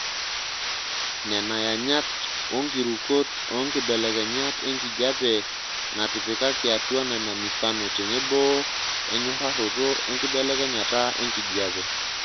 Nena yanyat onkirukot oonkibelekenyat enkijiepe naatipikaki atua nena mifano tenebo enyorraroto enkibelekenyata enkijiepe.